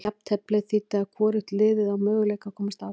Jafnteflið þýddi að hvorugt liðið á möguleika að komast áfram.